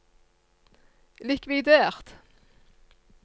likvidert